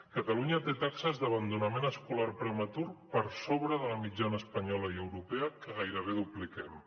catalunya té taxes d’abandonament escolar prematur per sobre de la mitjana espanyola i europea que gairebé dupliquem